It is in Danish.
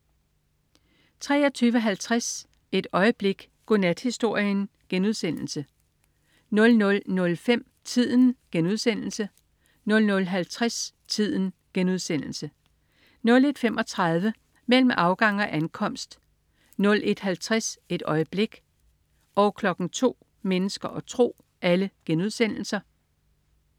23.50 Et øjeblik. Godnathistorien* 00.05 Tiden* 00.50 Tiden* 01.35 Mellem afgang og ankomst* 01.50 Et øjeblik* 02.00 Mennesker og tro*